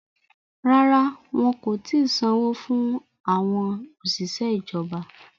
Rárá, wọn kò ti sanwó fún àwọn òṣìṣẹ́ ìjọba